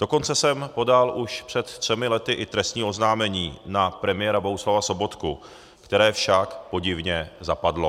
Dokonce jsem podal už před třemi lety i trestní oznámení na premiéra Bohuslava Sobotku, které však podivně zapadlo.